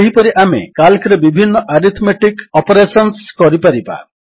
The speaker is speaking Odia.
ସେହିପରି ଆମେ କାଲ୍କରେ ବିଭିନ୍ନ ଆରିଥମେଟିକ୍ ଅପରେଶନ୍ସ କରିପାରିବା